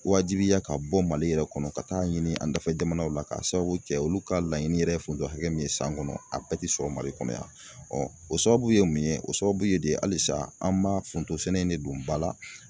Wajibiya ka bɔ MALI yɛrɛ kɔnɔ ka taa ɲini an dafɛ jamanaw la k'a sababu kɛ olu ka laɲini yɛrɛ ye foronto hakɛ min ye san kɔnɔ a bɛɛ tɛ sɔrɔ MALI kɔnɔ yan o sababu ye mun ye o sababu ye de halisa an b'a fo forontosɛnɛ in de don ba la.